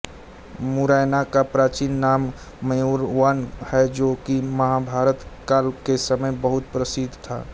मुरैना का प्राचीन नाम मयूरवन है जो की महाभारत काल के समय बहुत प्रसिद्ध था